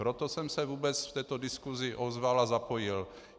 Proto jsem se vůbec v této diskusi ozval a zapojil.